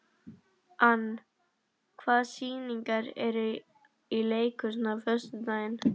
Ann, hvaða sýningar eru í leikhúsinu á föstudaginn?